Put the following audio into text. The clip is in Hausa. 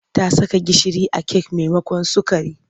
Ta saka gishiri a kek maimakon sukari.